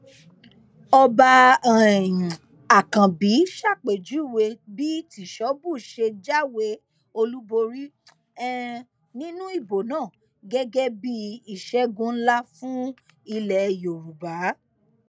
ọba um àkànbí ṣàpèjúwe bí tìṣóbù ṣe jáwé olúborí um nínú ìbò náà gẹgẹ bíi ìṣègùn ńlá fún ilẹ yorùbá